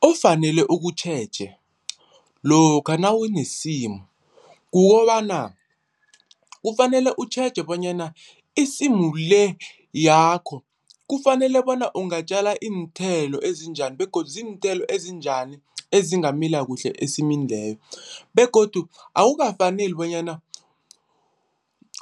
Ofanele ukutjheje lokha nawunesimu kukobana, kufanele utjheje bonyana isimu le yakho kufanele bona ungatjala iinthelo ezinjani begodu ziinthelo ezinjani ezingamila kuhle esimini leyo begodu awukafaneli bonyana